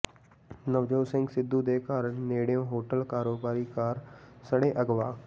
ਨਵਜੋਤ ਸਿੰਘ ਸਿੱਧੂ ਦੇ ਘਰ ਨੇੜਿਓਾ ਹੋਟਲ ਕਾਰੋਬਾਰੀ ਕਾਰ ਸਣੇ ਅਗਵਾ